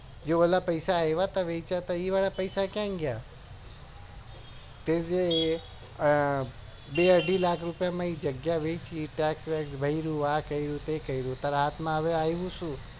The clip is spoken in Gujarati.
જો એના પૈસા આયા તા એ પેસા કઈ ગયા બે અઢી લાખ રૂપિયા માં એ જગ્યા વેચી text વેક્ષ ભર્યું હા કર્યું તે કર્યું તાર હાથ માં હવે આયુ શું